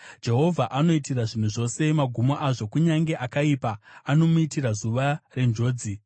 Jehovha anoitira zvinhu zvose magumo azvo; kunyange akaipa anomuitira zuva renjodzi.